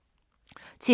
TV 2